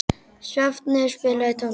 Sváfnir, spilaðu tónlist.